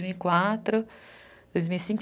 dois mil e quatro, dois mil e cinco.